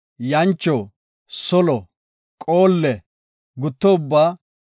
yancho, solo, qoolle, gutto ubbaa,